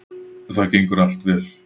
Það gengur allt vel